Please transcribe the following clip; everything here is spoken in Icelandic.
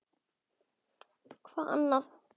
Hvað annað?!